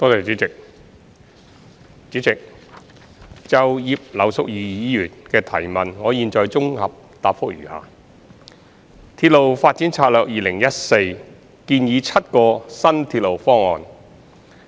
主席，就葉劉淑儀議員的質詢，現綜合答覆如下：《鐵路發展策略2014》建議7個新鐵路方案。